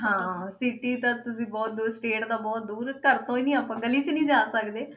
ਹਾਂ city ਤਾਂ ਵੀ ਬਹੁਤ ਦੂਰ state ਤਾਂ ਬਹੁਤ ਦੂਰ ਘਰ ਤੋਂ ਹੀ ਨੀ ਆਪਾਂ ਗਲੀ 'ਚ ਨੀ ਸਕਦੇ।